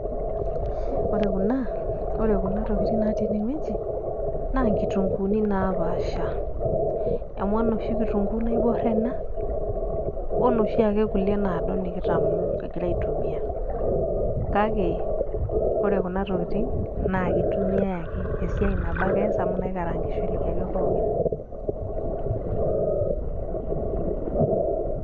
ore kuna ore kuna tokitin natii ene wueji. amu enoshi kitunkuu naibor ena onoshi ake naado nikitamoo kigira aitumia, kake ore kuna tokitin naa kitumiae ake esiai nabo ake ees amu inakaraagishoreki ake pookin.